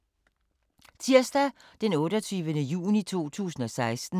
Tirsdag d. 28. juni 2016